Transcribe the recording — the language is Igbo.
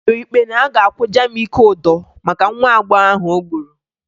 E kpere ikpe na a ga-akwụ Jamike ụdọ maka nwa agbọghọ ahụ o gburu